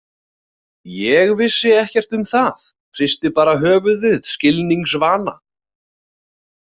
Ég vissi ekkert um það, hristi bara höfuðið skilningsvana.